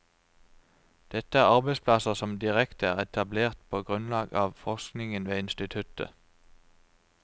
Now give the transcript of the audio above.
Dette er arbeidsplasser som direkte er etablert på grunnlag av forskningen ved instituttet.